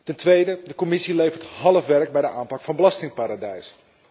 Ten tweede, de Commissie levert half werk bij de aanpak van belastingparadijzen.